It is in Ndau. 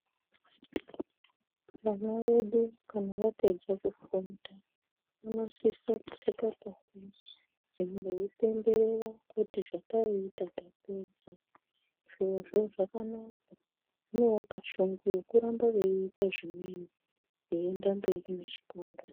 Vana vedu kana vapedza kufunda uno sise kupfeke hembe dzimwe veyi pemberera kuti zvataita tapedza zvirozvo zvakanaka zvinovapa shungu yeku ramba veita zvimweni veyi ende mberi ne chikora.